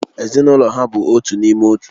Ezinụlọ ya bụ otu n'ime otu